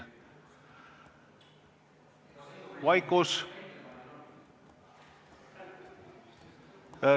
Vaikus.